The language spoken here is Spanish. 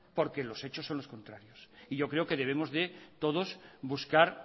porque los hechos son los contrarios y yo creo que debemos de todos buscar